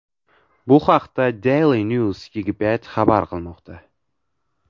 Bu haqda Daily News Egypt xabar qilmoqda .